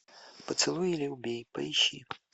поцелуй или убей поищи